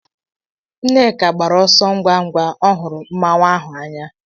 Nneka gbara ọsọ ngwa ngwa o huru Mmanwu ahụ anya.